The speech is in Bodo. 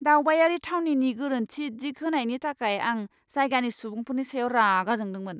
दावबायारि थावनिनि गोरोन्थि दिग होनायनि थाखाय आं जायगानि सुबुंफोरनि सायाव रागा जोंदोंमोन!